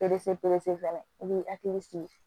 Perese pese fana i b'i hakili sigi